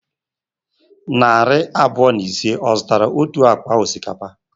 Narị abụọ na ise, ọ zụtara otu akpa osikapa?